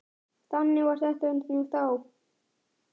Þannig var þetta nú þá.